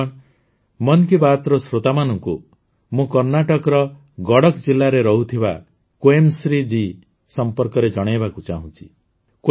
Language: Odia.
ବନ୍ଧୁଗଣ ମନ କୀ ବାତ୍ର ଶ୍ରୋତାମାନଙ୍କୁ ମୁଁ କର୍ଣ୍ଣାଟକର ଗଡକ ଜିଲାରେ ରହୁଥିବା କ୍ୱେମ୍ଶ୍ରୀ ଜୀଙ୍କ ସମ୍ପର୍କରେ ଜଣାଇବାକୁ ଚାହୁଁଛି